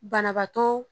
Banabaatɔ